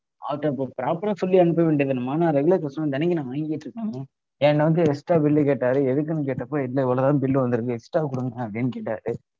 அவர்கிட்ட அப்ப proper ஆ சொல்லி அனுப்ப வேண்டியதுதானம்மா. நான் regular customer தினைக்கும் நான் வாங்கிகிட்டு இருக்கேன்ல. என்ன வந்து extra bill லு கேட்டாரு. எதுக்குனு கேட்டப்போ இல்ல இவ்வளவுதான் bill வந்திருக்கு extra குடுங்க அப்படின்னு கேட்டாரு